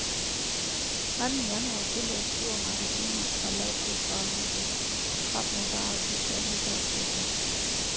Anden januar følger stormagasiner og lavprisvarehuse trop med varer til stærkt nedsatte priser.